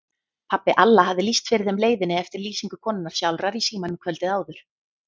Pabbi Alla hafði lýst fyrir þeim leiðinni eftir lýsingu konunnar sjálfrar í símanum kvöldið áður.